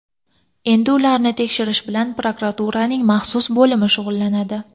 Endi ularni tekshirish bilan prokuraturaning maxsus bo‘limi shug‘ullanadi.